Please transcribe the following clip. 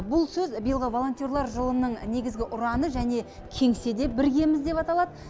бұл сөз биылғы волонтерлар жылының негізгі ұраны және кеңсе де біргеміз деп аталады